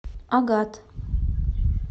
агат